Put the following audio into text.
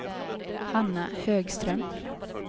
Hanna Högström